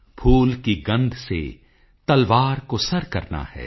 ਫੂਲ ਕੀ ਗੰਧ ਸੇ ਤਲਵਾਰ ਕੋ ਸਰ ਕਰਨਾ ਹੈ